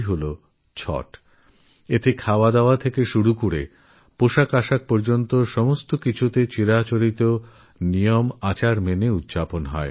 যেখানে খাওয়াদাওয়া থেকে শুরুকরে বেশভূষা পর্যন্ত প্রতিটি বিষয় পরম্পরা মেনে পালন করা হয়